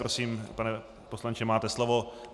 Prosím, pane poslanče, máte slovo.